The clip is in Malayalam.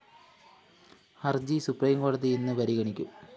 ഹര്‍ജി സുപ്രീംകോടതി ഇന്ന് പരിഗണിക്കും